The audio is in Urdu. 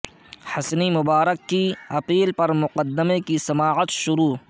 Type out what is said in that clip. حسنی مبارک کی اپیل پر مقدمے کی سماعت شروع